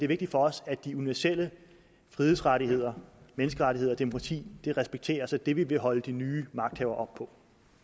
vigtigt for os at de universelle frihedsrettigheder menneskerettigheder og demokrati respekteres og det vil vi holde de nye magthavere op på